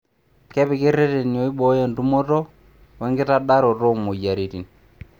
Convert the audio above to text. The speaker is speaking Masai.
Kepiki ireteni oibooyo entumoto wekitadararoto oo moyiaritin.